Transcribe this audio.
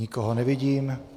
Nikoho nevidím.